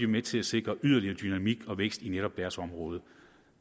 med til at sikre yderligere dynamik og vækst i netop deres område